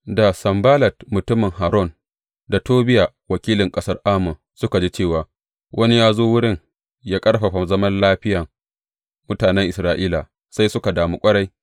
Da Sanballat mutumin Horon da Tobiya wakilin ƙasar Ammon suka ji cewa wani ya zo domin yă ƙarfafa zaman lafiyar mutanen Isra’ila, sai suka damu ƙwarai.